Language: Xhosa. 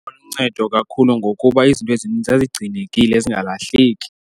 Yayiluncedo lakhulu ngokuba izinto ezininzi zazigcinekile zingalahleki.